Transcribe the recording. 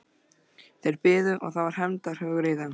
Þeir biðu og það var hefndarhugur í þeim.